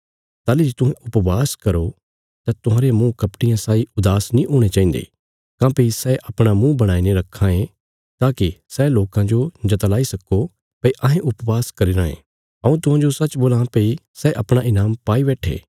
ताहली जे तुहें उपवास करो तां तुहांरे मुँह कपटियां साई उदास नीं हुणे चाहिन्दे काँह्भई सै अपणा मुँह बणाईने रखां ये ताकि सै लोकां जो जतलाई सक्को भई अहें उपवास करी रायें हऊँ तुहांजो सच्च बोलां भई सै अपणा ईनाम पाई बैट्ठे